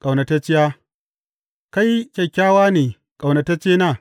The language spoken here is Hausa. Ƙaunatacciya Kai kyakkyawa ne, ƙaunataccena!